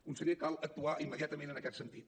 conseller cal actuar immediatament en aquest sentit